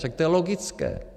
Však to je logické.